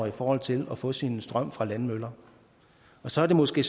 i forhold til at få sin strøm fra landmøller og så er det måske